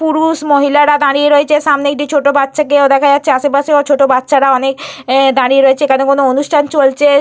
পুরুষ মহিলারা দাঁড়িয়ে রয়েছে। সামনে একটি ছোট বাচ্চাকেও দেখা যাচ্ছে। আশেপাশেও ছোট বাচ্চারা অনেক দাঁড়িয়ে রয়েছে। এখানে কোনো অনুষ্ঠান চলছে।